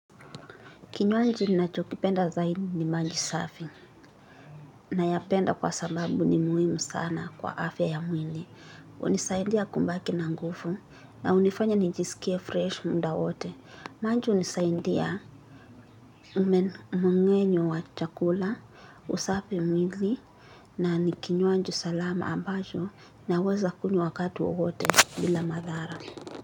Kinywanji ninacho kipenda zaidi ni mali safi nayapenda kwa sababu ni muhimu sana kwa afya ya mwili. Unisaindia kumbaki na ngufu na unifanya nijiskie fresh munda wote. Manji unisaindia umemengenyo wa chakula, usafi mwili na ni kinywanji salama ambacho naweza kunywa wakati wowote bila madhara.